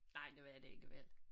Nej det var det ikke vel